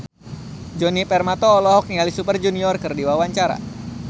Djoni Permato olohok ningali Super Junior keur diwawancara